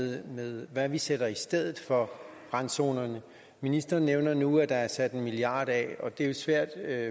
her med hvad vi sætter i stedet for randzonerne ministeren nævner nu at der er sat en milliard kroner af og det er jo svært at